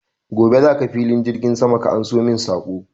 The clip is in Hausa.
Gobe za ka filin jirgin sama ka anso min saƙo!